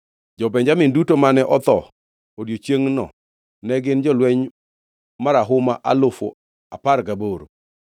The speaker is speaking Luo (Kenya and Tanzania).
Jo-Benjamin duto mane otho odiechiengno ne gin jolweny marahuma alufu apar gaboro.